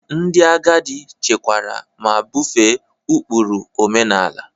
Ndị agadi chekwara ma bufee ụkpụrụ omenala.